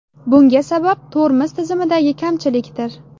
Bunga sabab tormoz tizimidagi kamchilikdir.